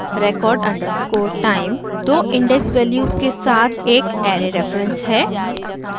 record underscore time two index values के साथ एक array reference है